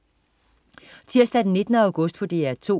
Tirsdag den 19. august - DR 2: